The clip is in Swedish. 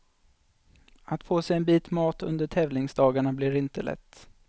Att få sig en bit mat under tävlingsdagarna blir inte lätt.